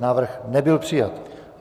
Návrh nebyl přijat.